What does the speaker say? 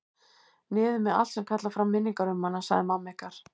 Niður með allt sem kallar fram minningar um hana, sagði mamma ykkar.